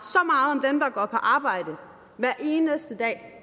om dem der går på arbejde hver eneste dag